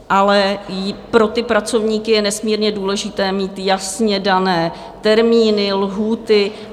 Ale pro ty pracovníky je nesmírně důležité mít jasně dané termíny, lhůty.